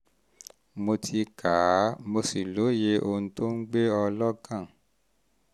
mo ti kà á um mo sì lóye ohun tó um ń um gbé ọ lọ́kàn